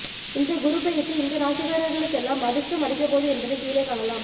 இந்த குருபெயர்ச்சி இந்த ராசிக்காரர்களுக்கெல்லாம் அதிர்ஷ்டம் அடிக்கபோகுது என்பதை கீழே காணலாம்